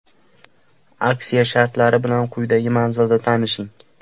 Aksiya shartlari bilan quyidagi manzilda tanishing.